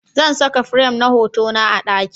Zan saka firam na hotuna a daki